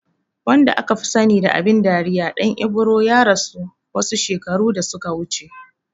Wanda akafi sani da abin dariya Ɗan Ibro ya rasu wasu shekaru da suka wuce